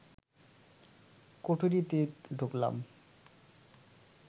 কুঠুরিতে ঢুকলাম